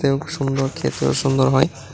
এবং সুন্দর খেতেও সুন্দর হয়।